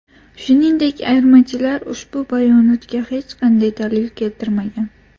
Shuningdek, ayirmachilar ushbu bayonotga hech qanday dalil keltirmagan.